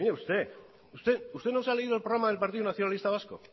usted no se ha leído el programa del partido nacionalista vasco